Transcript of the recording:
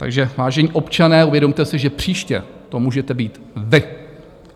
Takže vážení občané, uvědomte si, že příště to můžete být vy.